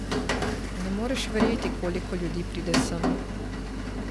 Ne moreš verjeti, koliko ljudi pride sem.